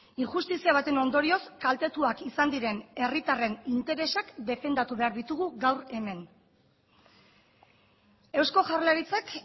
injustizia baten ondorioz kaltetuak izan diren herritarren interesak defendatu behar ditugu gaur hemen eusko jaurlaritzak